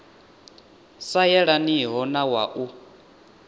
sa yelaniho na wa u